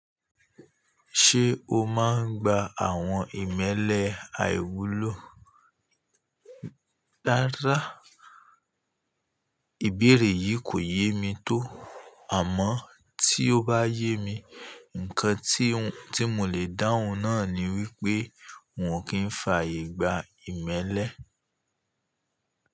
Ṣé o máa ń gba àwọn ìmẹ́lẹ́ àìwúlò? Rárá Ìbéèrè yìí kò yé mi tó àmọ́ tí ó bá yé mi, ǹkan tí, tí mò lè dáhùn náà ni wípé wọn kì í fàyègba ìmẹ́lẹ́.